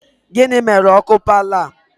Gịnị mere ọkụ paalọ a?